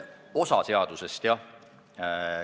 Osa seadusest, jah.